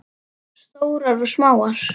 Stórar og smáar.